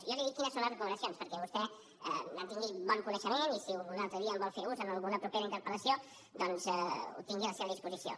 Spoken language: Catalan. i jo li dic quines en són les recomanacions perquè vostè en tingui bon coneixement i si un altre dia en vol fer ús en alguna propera interpel·lació doncs ho tingui a la seva disposició